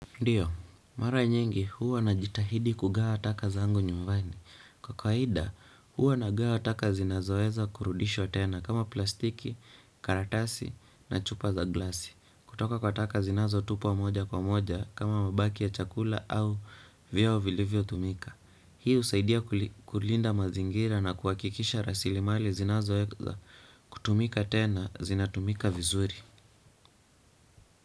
Ndiyo, mara nyingi huwa ninajitahidi kugawa taka zangu nyumbani. Kwa kwaida huwa ninagawa taka zinazoweza kurudishwa tena kama plastiki, karatasi na chupa za glasi. Kutoka kwa taka zinazotupwa moja kwa moja kama mabaki ya chakula au vyoo vilivyotumika. Hii husaidia kulinda mazingira na kuhakikisha rasilimali zinazoweza kutumika tena zinatumika vizuri.